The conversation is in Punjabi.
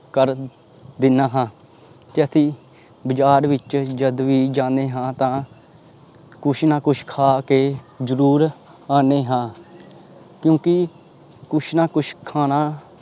ਕਰ ਦਿਨਾ ਹਾਂ ਤੇ ਅਸੀਂ ਬਾਜ਼ਾਰ ਵਿੱਚ ਜਦ ਵੀ ਜਾਂਦੇ ਹਾਂ ਤਾਂ ਕੁਛ ਨਾ ਕੁਛ ਖਾ ਕੇ ਜ਼ਰੂਰ ਆਉਂਦੇ ਹਾਂ ਕਿਉਂਕਿ ਕੁਛ ਨਾ ਕੁਛ ਖਾਣਾ